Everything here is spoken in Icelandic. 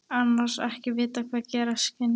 Annars ekki að vita hvað gerast kynni.